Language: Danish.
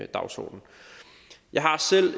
dagsorden jeg har selv